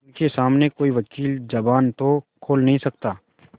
उनके सामने कोई वकील जबान तो खोल नहीं सकता